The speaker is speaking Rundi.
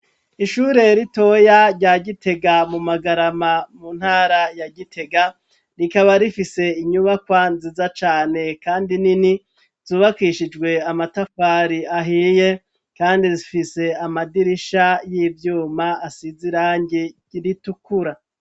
Ishure ritoya rya Gitega mu Magarama mu ntara ya Gitega, rikaba rifise inyubakwa nziza cane kandi nini, zubakishijwe amatafari ahiye ,kandi zifise amadirisha y'ivyuma asiz'irangi ritukura.